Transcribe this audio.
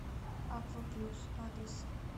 аква плюс адрес